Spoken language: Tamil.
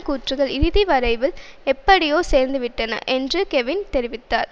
கூற்றுக்கள் இறுதி வரைவில் எப்படியோ சேர்ந்துவிட்டன என்று கெவின் தெரிவித்தார்